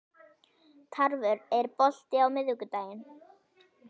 Tarfur, er bolti á miðvikudaginn?